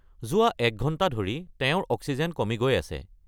যোৱা এক ঘণ্টা ধৰি তেওঁৰ অক্সিজেন কমি গৈ আছে।